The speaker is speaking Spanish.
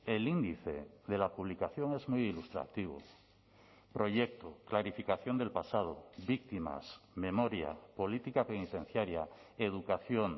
el índice de la publicación es muy ilustrativo proyecto clarificación del pasado víctimas memoria política penitenciaria educación